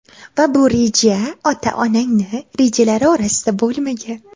Va bu reja ota onangni rejalari orasida bo‘lmagan.